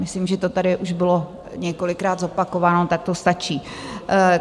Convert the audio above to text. Myslím, že to tady už bylo několikrát zopakováno, tak to stačí.